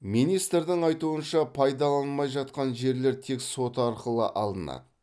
министрдің айтуынша пайдаланылмай жатқан жерлер тек сот арқылы алынады